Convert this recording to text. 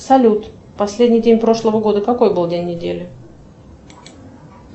салют последний день прошлого года какой был день недели